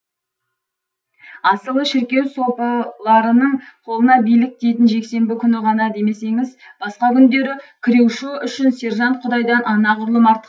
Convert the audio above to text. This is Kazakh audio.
асылы шіркеу сопыларының қолына билік тиетін жексенбі күні ғана демесеңіз басқа күндері крюшо үшін сержант құдайдан анағұрлым артық